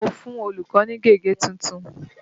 Mo fún olùkọ́ ní gègé tuntun.